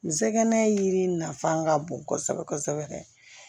N sɛgɛn yiri nafa ka bon kosɛbɛ kosɛbɛ